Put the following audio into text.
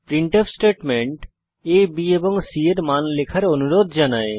printf statement a b এবং c এর মান লেখার অনুরোধ জানায়